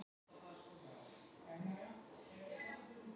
Fréttamaður: En hefðuð þið ekki getað látið vita af ykkur?